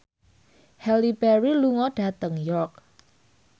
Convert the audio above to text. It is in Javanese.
Halle Berry lunga dhateng York